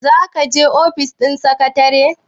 za ka je ofis ɗin sekatare?